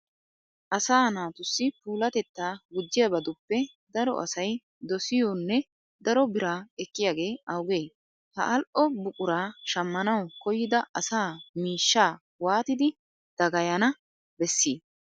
Asaa naatussi puulatettaa gujjiyabatuppe daro asay dosiyonne daro biraa ekkiyagee awugee? Ha al"o buquraa shammanawu koyyida asa miishshaa waatidi dagayana bessii?